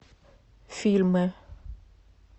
фильмы